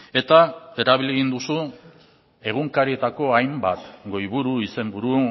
eta erabili egin duzu egunkarietako hainbat goiburu izenburu